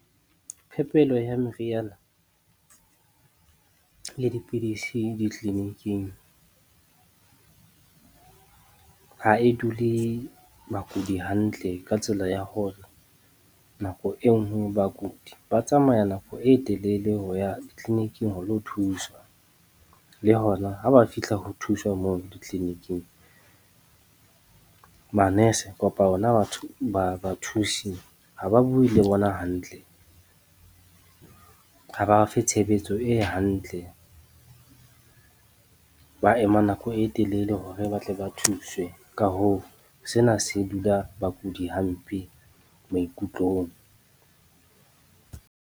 Phepelo ya meriana le dipidisi ditleniking ha e dule bakudi hantle ka tsela ya hore, nako e nngwe bakudi ba tsamaya nako e telele ho ya tleliniking ho lo thuswa. Le hona ha ba fihla ho thuswa moo ditleliniking, manese kapa ona bathusi ha ba bue le bona hantle, ha ba fe tshebetso e hantle. Ba ema nako e telele hore ba tle ba thuswe. Ka hoo, sena se dula bakudi hampe maikutlong.